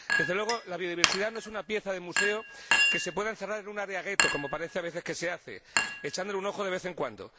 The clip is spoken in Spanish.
Desde luego, la biodiversidad no es una pieza de museo que se pueda encerrar en un área gueto, como parece a veces que se hace, echándole un ojo de vez en cuando.